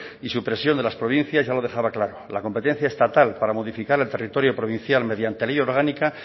y supresión de las provincias ya lo dejaba claro la competencia estatal para modificar el territorio provincial mediante ley orgánica